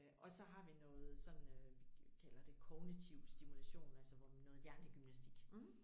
Øh og så har vi noget sådan øh vi kalder det kognitiv stimulation altså hvor man noget hjernegymnastik